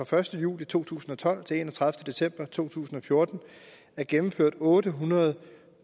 første juli to tusind og tolv til den enogtredivete december to tusind og fjorten er gennemført otte hundrede og